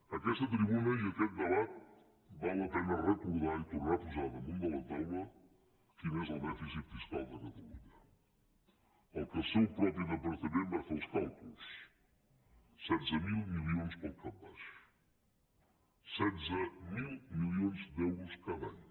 en aquesta tribuna i aquest debat val la pena recordar i tornar a posar damunt de la taula quin és el dèficit fiscal de catalunya del qual el seu propi departament va fer els càlculs setze mil milions pel cap baix setze mil milions d’euros cada any